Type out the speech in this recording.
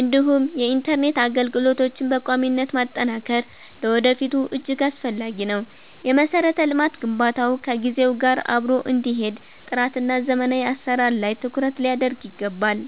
እንዲሁም የኢንተርኔት አገልግሎቶችን በቋሚነት ማጠናከር ለወደፊቱ እጅግ አስፈላጊ ነው። የመሠረተ ልማት ግንባታው ከጊዜው ጋር አብሮ እንዲሄድ ጥራትና ዘመናዊ አሠራር ላይ ትኩረት ሊደረግ ይገባል።